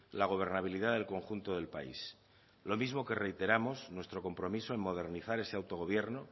la gobernabilidad del conjunto del país lo mismo que reiteramos nuestro compromiso en modernizar ese autogobierno